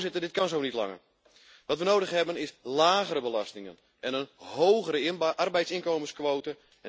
Voorzitter, dit kan zo niet langer. Wat we nodig hebben, is lagere belastingen en een hogere arbeidsinkomensquote.